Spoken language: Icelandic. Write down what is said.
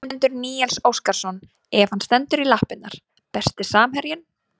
Ingimundur Níels Óskarsson ef hann stendur í lappirnar Besti samherjinn?